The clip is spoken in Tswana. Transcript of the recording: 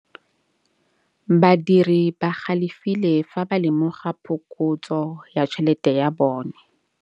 Badiri ba galefile fa ba lemoga phokotsô ya tšhelête ya bone.